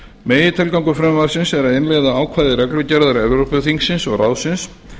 megintilgangur frumvarpsins er að innleiða ákvæði reglugerðar evrópuþingsins og ráðsins